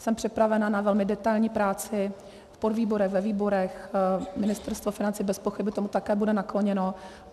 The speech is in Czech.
Jsem připravena na velmi detailní práci v podvýborech, ve výborech, Ministerstvo financí bez pochyby také tomu bude nakloněno.